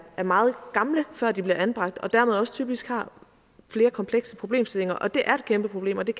meget gamle før de bliver anbragt og dermed også typisk har flere komplekse problemstillinger det er et kæmpeproblem og det